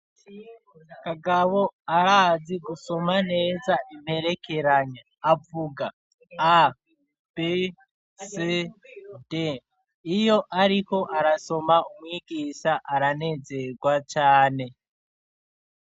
Kagabo, arazi gusoma neza, imperekeranya; avuga: a, b, c, d; iyo ariko arasoma, umwigisha, aranezerwa cane.